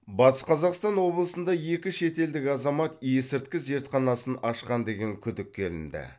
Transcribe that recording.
батыс қазақстан облысында екі шетелдік азамат есірткі зертханасын ашқан деген күдікке ілінді